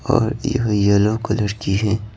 और यह yellow colour की है।